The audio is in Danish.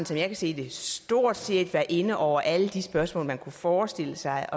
som jeg kan se det stort set været inde over alle de spørgsmål man kunne forestille sig